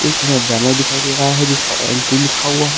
लिखा हुआ बैनर दिखाई दे रहा है जिसपे एंट्री लिखा हुआ है।